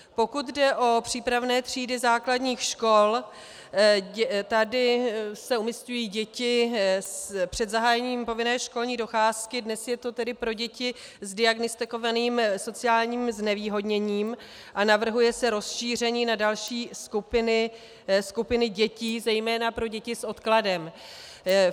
Pokud jde o přípravné třídy základních škol, tady se umísťují děti před zahájením povinné školní docházky, dnes je to tedy pro děti s diagnostikovaným sociálním znevýhodněním, a navrhuje se rozšíření na další skupiny dětí, zejména pro děti s odkladem.